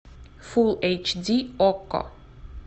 фулл эйч ди окко